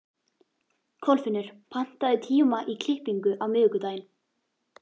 Kolfinnur, pantaðu tíma í klippingu á miðvikudaginn.